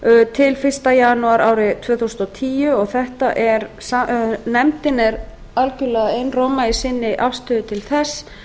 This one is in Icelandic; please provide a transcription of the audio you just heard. til fyrsta janúar árið tvö þúsund og tíu og nefndin er algerlega einróma í sinni afstöðu til þess